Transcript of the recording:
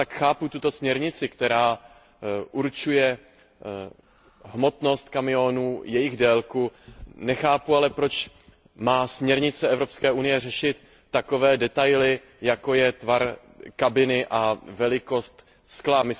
Chápu tuto směrnici, která určuje hmotnost kamionů, jejich délku, nechápu ale, proč má směrnice Evropské unie řešit takové detaily, jako je tvar kabiny a velikost skla.